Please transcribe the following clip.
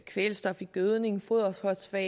kvælstof i gødning foderfosfat